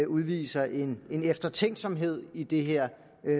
udviser en eftertænksomhed i det her